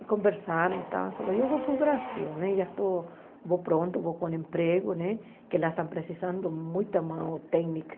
E conversaram, falaram, eu vou para o Brasil, já estou, vou pronto, vou com emprego né, que lá estão precisando muita mão técnica.